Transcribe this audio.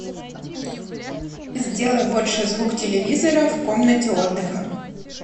сделай больше звук телевизора в комнате отдыха